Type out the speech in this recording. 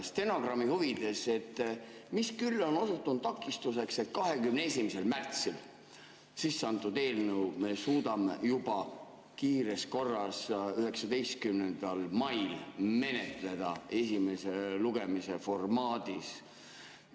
Stenogrammi huvides: mis küll on osutunud takistuseks, et 21. märtsil sisseantud eelnõu me suudame kiires korras juba 19. mail menetleda esimese lugemise formaadis?